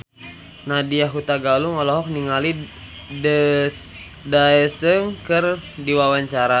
Nadya Hutagalung olohok ningali Daesung keur diwawancara